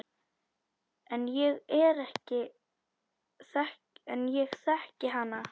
En ég þekki hana.